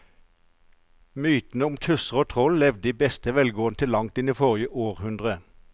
Mytene om tusser og troll levde i beste velgående til langt inn i forrige århundre.